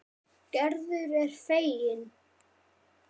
Gerður er fegin.